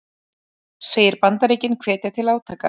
Segir Bandaríkin hvetja til átaka